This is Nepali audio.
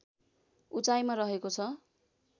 उचाइमा रहेको छ